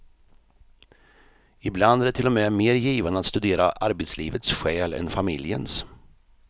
Ibland är det till och med mer givande att studera arbetslivets själ än familjens.